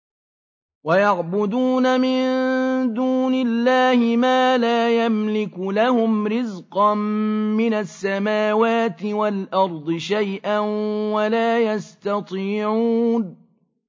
وَيَعْبُدُونَ مِن دُونِ اللَّهِ مَا لَا يَمْلِكُ لَهُمْ رِزْقًا مِّنَ السَّمَاوَاتِ وَالْأَرْضِ شَيْئًا وَلَا يَسْتَطِيعُونَ